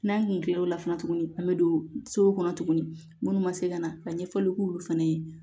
N'an kun kila l'o la fana tuguni an bɛ don so kɔnɔ tuguni minnu ma se ka na ka ɲɛfɔli k'olu fana ye